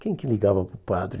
Quem que ligava para o padre?